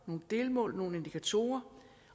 nogle delmål nogle indikatorer